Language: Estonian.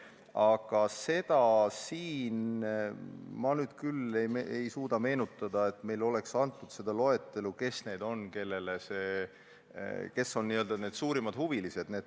Aga seda ma nüüd küll ei suuda meenutada, et meile oleks antud loetelu neist, kes on n-ö suurimad huvilised.